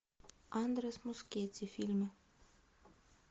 андрес мускетти фильмы